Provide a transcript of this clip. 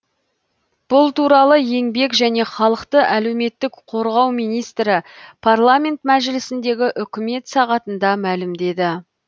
бұл туралы еңбек және халықты әлеуметтік қорғау министрі парламент мәжілісіндегі үкімет сағатында мәлімдеді